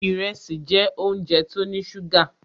Ìrẹsì jẹ́ óúnjẹ tó ní ṣúgà.